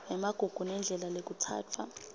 emagugu nendlela lekutsatfwa